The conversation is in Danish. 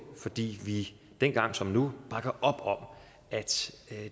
fordi vi dengang som nu bakker op om at